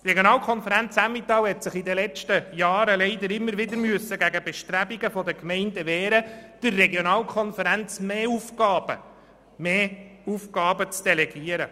Die Regionalkonferenz Emmental hat sich in den letzten Jahren leider immer wieder gegen Bestrebungen der Gemeinden wehren müssen, zusätzliche Aufgaben an die Regionalkonferenz zu delegieren.